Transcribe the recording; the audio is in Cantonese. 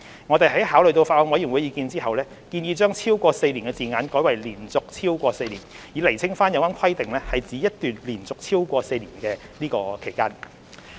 我們在考慮法案委員會的意見後，建議將"超過4年"的字眼改為"連續超過4年"，以釐清有關規定是指一段連續超過4年的期間。